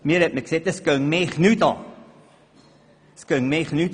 Das gehe mich nichts an, wurde mir mitgeteilt.